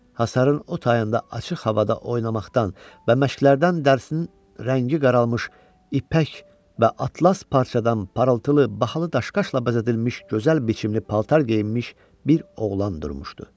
Həsərin o tayında açıq havada oynamaqdan və məşqlərdən dərsin rəngi qaralmış, ipək və atlas parçadan parıltılı bahalı daşqaşla bəzədilmiş gözəl biçimli paltar geyinmiş bir oğlan durmuşdu.